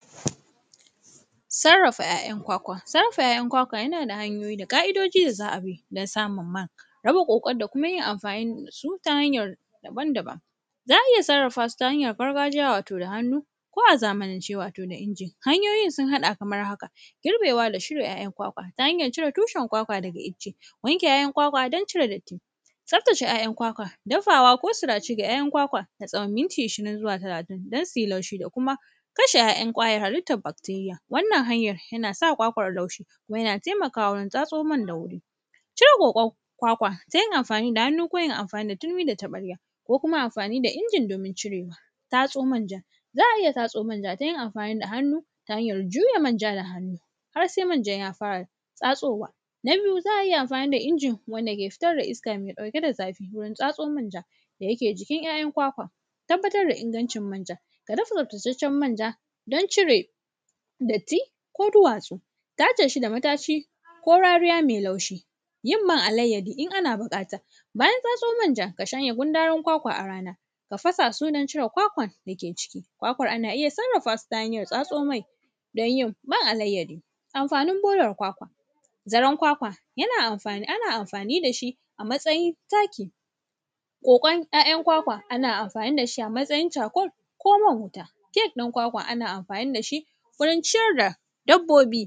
Sarrafa ‘ya’yan kwakwa. Sarrafa ‘ya’yan kwakwa, yana da hanyoyi da ƙa’idoji da za a bi, dan samum man. Raba ƙoƙon da kyuma yin amfani da su ta hanyar daban-daban. Za a iya sarrafa su ta hanyar gargajiya, wato da hannu, ko a zamanance, wato da injin. Hanyoyin sun haɗa kamar haka. Girbewa da shirya ‘ya’yan kwakwa ta hanyar cire tushen kwakwa daga ice, wanke ‘ya’yan kwakwa don cire datti, tsaftace ‘ya’yan kwakwa, dafawa ko sirace ga ‘ya’yan kwakwa, na tsawon minki ishirin zuwa talatin, dan si laushi da kuma kashe ‘ya’yan ƙwayar halittar bakteriya. Wannan hanyar, yana sa kwakwar laushi, kuma yana temakawa wurin tsatso man da wuri. Cire ƙoƙon kwakwa, ta yin amfani da hannu ko yin amfani da tirmi da taƃarya, ko kuma amfani da injin domin cire; tatso manjan. Za a iya tatso manja ta yin amfani da hannu, ta hanyar juya manja da hannu, har se manjan ya fara tsatsowa. Na biyu, za a iya amfani da injin wanda ke fitar da iska me ɗauke da zafi wurin tatso manja da yake jikin ‘ya’yan kwakwa. Tabbatar da ingancin manja, ka dafa tsaftacaccen manja don cire datti ko duwatsu, tace shi da mataci ko rariya me laushi, yin man alayyadi in ana biƙata. Bayan tsatso manja, ka shanya gundarun kwakwa a rana, ka fasa su don cire kwakwan da ke ciki. Kwakwar, ana iya sarrafa su ta hanyar tsatso mai, don yin man alayyadi. Amfanin borara kwakwa, zaren kwakwa, yana amfani; ana amfani da shi a matsayin taki, ƙoƙon ‘ya’yan kwakwa, ana amfani da shi a matsayin cakol koman wuta, kek ɗin kwakwa, ana amfani da shi wurin ciyar da dabbobi.